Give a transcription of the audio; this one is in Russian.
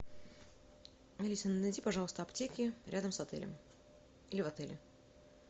алиса найди пожалуйста аптеки рядом с отелем или в отеле